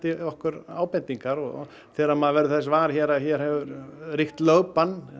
okkur ábendingar þegar maður verður þess var að hér hefur ríkt lögbann